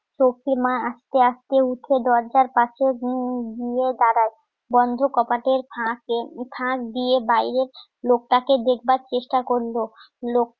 সখি মা আস্তে আস্তে উঠে দরজার পাশে ঘুমিয়ে দাঁড়ায়. বন্ধ কপাটের ফাঁকে ফাঁক দিয়ে বাইরের লোকটাকে দেখবার চেষ্টা করলো লোকটাও